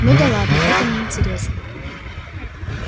ну да ладно это неинтересно